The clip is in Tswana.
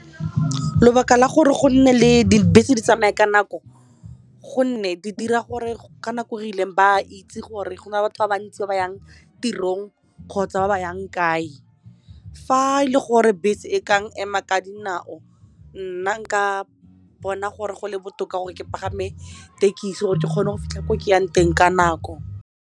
Lobaka la gore go nne le dibese di tsamaya ka nako gonne di dira gore ka nako re ileng ba itse gore go na le batho ba ba ntsi ba ba yang tirong kgotsa ba ba yang kae fa e le gore bese e kang ema ka dinao nna nka bona gore go le botoka gore ke pagame tekisi gore ke kgone go fitlha ko ke yang teng ka nako.